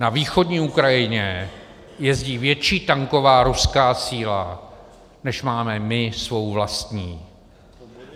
Na východní Ukrajině jezdí větší tanková ruská síla, než máme my svou vlastní.